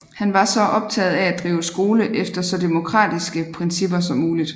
Han var optaget af at drive skole efter så demokratiske principper som muligt